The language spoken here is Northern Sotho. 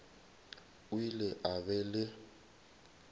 o ile a ba le